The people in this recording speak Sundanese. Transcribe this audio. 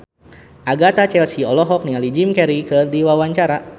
Agatha Chelsea olohok ningali Jim Carey keur diwawancara